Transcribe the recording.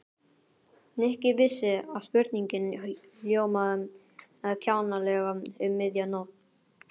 Nikki vissi að spurningin hljómaði kjánalega um miðja nótt.